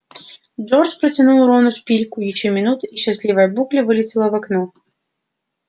джордж протянул рону шпильку ещё минута и счастливая букля вылетела в окно